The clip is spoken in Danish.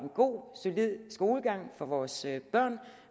god solid skolegang for vores børn